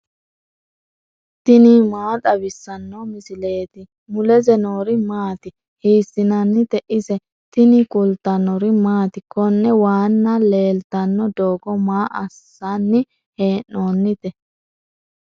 tini maa xawissanno misileeti ? mulese noori maati ? hiissinannite ise ? tini kultannori maati? Konne waanna leelittanno doogo maa assanni hee'noonnite?